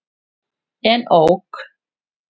En ók.